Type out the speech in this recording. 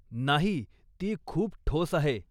नाही, ती खूप ठोस आहे.